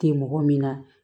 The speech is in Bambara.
Tɛ mɔgɔ min na